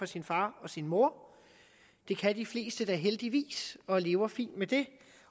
sin far og sin mor det kan de fleste da heldigvis og de lever fint med det